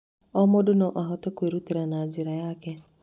O mũndũ no ahote kwĩrutĩra na njĩra yake.